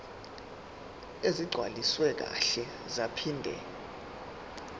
ezigcwaliswe kahle zaphinde